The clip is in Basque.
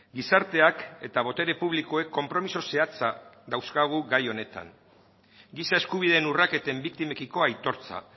gizarteak eta botere publikoek konpromiso zehatza dauzkagu gai honetan giza eskubideen urraketen biktimekiko aitortza